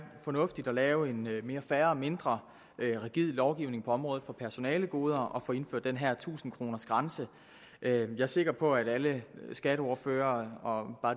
fornuftigt at lave en mere fair og mindre rigid lovgivning på området for personalegoder ved at få indført den her tusind kroners grænse jeg er sikker på at alle skatteordførere